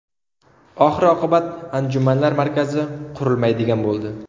Oxir-oqibat anjumanlar markazi qurilmaydigan bo‘ldi.